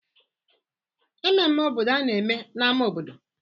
Mmemme obodo a na-eme n'ámá obodo?